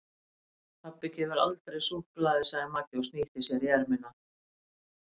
Pabbi gefur aldrei súkkulaði sagði Magga og snýtti sér á erminni.